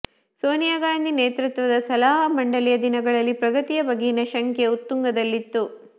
ಸೋನಿಯಾ ಗಾಂಧಿ ನೇತೃತ್ವದ ಸಲಹಾ ಮಂಡಳಿಯ ದಿನಗಳಲ್ಲಿ ಪ್ರಗತಿಯ ಬಗೆಗಿನ ಶಂಕೆ ಉತ್ತುಂಗದಲ್ಲಿತ್ತು